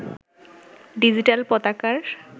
digital পতাকার